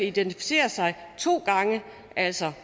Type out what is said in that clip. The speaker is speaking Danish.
identificere sig to gange altså